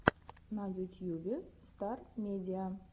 на ютьюбе стар медиа